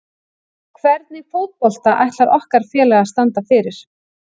Hvernig fótbolta ætlar okkar félag að standa fyrir?